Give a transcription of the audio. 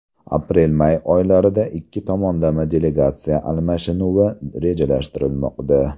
Aprel-may oylarida ikki tomonlama delegatsiya almashinuvi rejalashtirilmoqda.